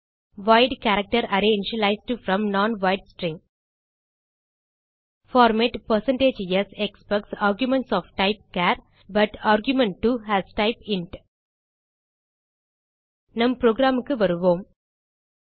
white character array initialised from non wide string formats expects argument of type char but argument 2 has type int நம் programக்கு வருவோம்